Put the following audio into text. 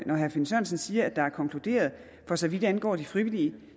når herre finn sørensen siger at der er konkluderet for så vidt angår de frivillige